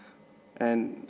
en